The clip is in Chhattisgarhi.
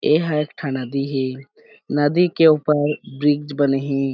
एहा एक ठा नदी हे नदी के ऊपर ब्रिज बने हे।